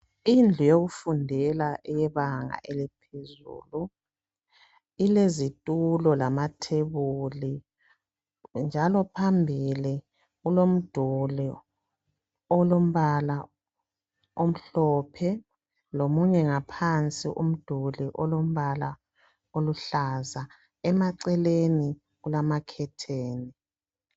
Indlu yokufundela yebanga eliphezulu ilezitulo lamathebuli. Phambili kulomduli olombala omhlophe lomunye ngaphansi oluhlaza. Emaceleni kulamakhetheni.